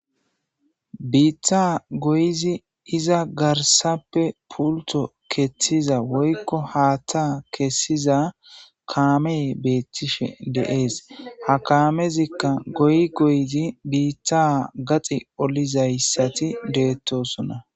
biitta goyizi iza garsappe pulto ketiza woykko haatta kessiza kaame beettishe deees ha kaamezikka goy goyizi biitta gaxi olizayssati beettosona